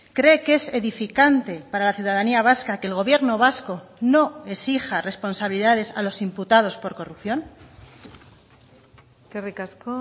cree que es edificante para la ciudadanía vasca que el gobierno vasco no exija responsabilidades a los imputados por corrupción eskerrik asko